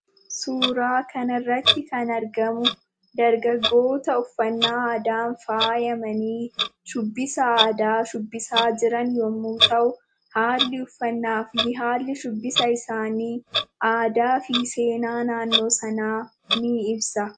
Suuraa kana irratti kan argamu dargaggoota uffannaa aadaan faayamanii shubbisa aadaa shubbisaa kan jiran yemmuu ta'u, haalli uffannaafi haalli shubbisa isaanii aadaafi seenaa naannoo sanaa ni ibsa.